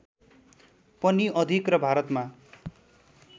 पनि अधिक र भारतमा